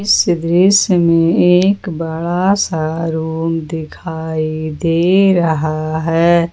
इस दृश्य में एक बड़ा सा रूम दिखाई दे रहा है ।